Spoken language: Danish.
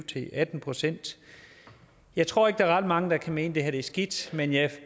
til atten procent jeg tror ikke der er ret mange der kan mene at det her er skidt men jeg